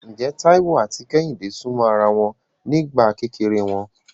Ǹjẹ́ Táíwò àti Kẹ́hìndé súnmọ́ ara wọn nígbà kékeré wọn?